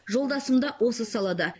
жолдасым да осы салада